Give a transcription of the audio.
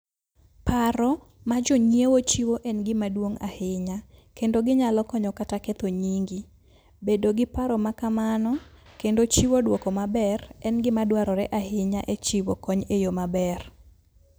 Paro ma jonyiewo chiwo en gima duong' ahinya, kendo ginyalo konyo kata ketho nyingi. Bedo gi paro ma kamano kendo chiwo dwoko maber, en gima dwarore ahinya e chiwo kony e yo maber.